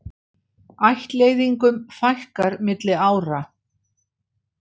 Ættleiðingum fækkar milli ára